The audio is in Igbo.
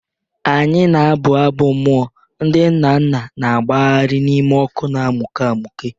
Anyị na-abụ abụ, mmụọ ndị nna nna na-agbagharị n'ime ọkụ na emuke emuke.